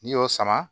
N'i y'o sama